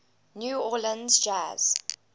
new orleans jazz